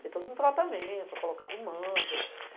Tem todo um tratamento, é colocado mantras.